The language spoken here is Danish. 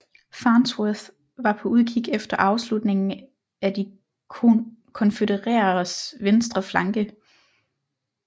Farnsworth var på udkig efter afslutningen af de konfødereredes venstre flanke